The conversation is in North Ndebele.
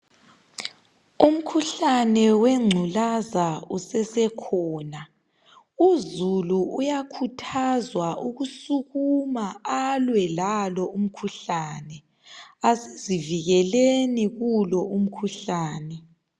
Umkhuhlane wegculaza usasekhona. Uzulu uyakuthazwa ukusukuma alwe lalo umkhuhlane. Asizivikelekeleni kulo umkhuhlane.